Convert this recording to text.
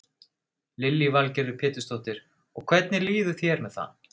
Lillý Valgerður Pétursdóttir: Og hvernig líður þér með það?